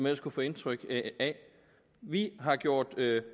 ellers kunne få indtryk af vi har gjort